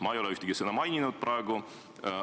Ma ei ole ühtegi sõna maininud praegu.